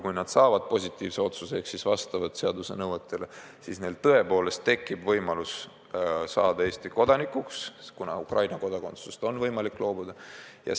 Kui nad saavad positiivse vastuse, siis neil lastel tekib seaduse kohaselt tõepoolest võimalus saada Eesti kodanikuks, kuna Ukraina kodakondsusest on võimalik loobuda.